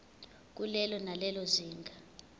kulelo nalelo zinga